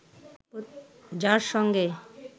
যার সঙ্গে